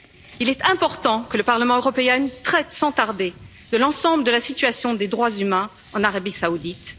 Il est important que le Parlement européen traite sans tarder de l'ensemble de la situation des droits humains en Arabie Saoudite.